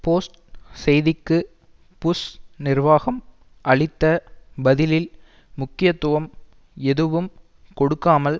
post செய்திக்கு Bush நிர்வாகம் அளித்த பதிலில் முக்கியத்துவம் எதுவும் கொடுக்காமல்